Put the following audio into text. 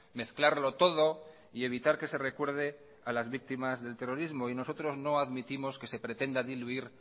mezclarlo todo y evitar que se recuerde a las víctimas del terrorismo nosotros no admitimos que se pretenda diluir